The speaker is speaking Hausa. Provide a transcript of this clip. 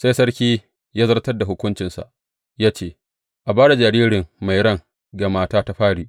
Sai sarki ya zartar da hukuncinsa ya ce, A ba da jariri mai ran ga mata ta fari.